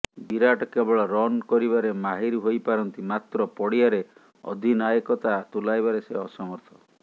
ବିରାଟ କେବଳ ରନ କରିବାରେ ମାହିର ହୋଇପାରନ୍ତି ମାତ୍ର ପଡ଼ିଆରେ ଅଧିନାୟକତା ତୁଲାଇବାରେ ସେ ଅସମର୍ଥ